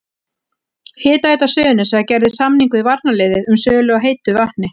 Hitaveita Suðurnesja gerði samning við varnarliðið um sölu á heitu vatni.